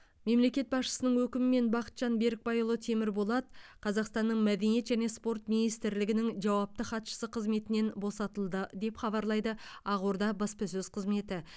мемлекет басшысының өкімімен бақытжан берікбайұлы темірболат қазақстанның мәдениет және спорт министрлігінің жауапты хатшысы қызметінен босатылды деп хабарлайды ақорданың баспасөз қызметі